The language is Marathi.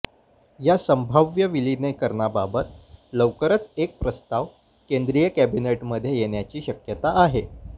या संभाव्य विलिनिकरणाबाबत लवकरच एक प्रस्ताव केंद्रीय कॅबिनेटमध्ये येण्याची शक्यता आहे